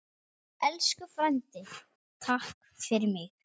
Elsku frændi, takk fyrir mig.